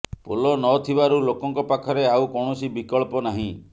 ପୋଲ ନ ଥିବାରୁ ଲୋକଙ୍କ ପାଖରେ ଆଉ କୌଣସି ବିକଳ୍ପ ନାହିଁ